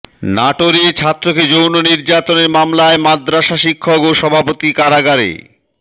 নাটোরে ছাত্রকে যৌন নির্যাতনের মামলায় মাদ্রাসা শিক্ষক ও সভাপতি কারাগারে